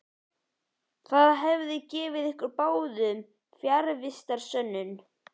Það hefði gefið ykkur báðum fjarvistarsönnun.